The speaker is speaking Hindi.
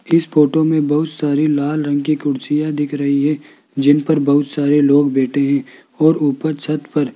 इस फोटो में बहुत सारी लाल रंग की कुर्सियां दिख रही है जिन पर बहुत सारे लोग बैठे हैं और ऊपर छत पर --